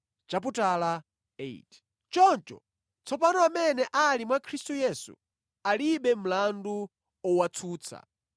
Choncho, tsopano amene ali mwa Khristu Yesu alibe mlandu owatsutsa